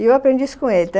E eu aprendi isso com ele.